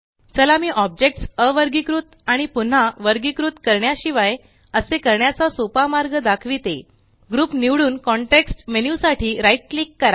चला मी ऑब्जेकट्स अवर्गीकृत आणि पुन्हा वर्गीकृत करण्या शिवाय असे करण्याचा सोपा मार्ग दाखविते ग्रुप निवडून कॉन्टेक्स्ट मेन्यु साठी right क्लिक करा